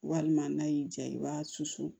Walima n'a y'i diya i b'a susu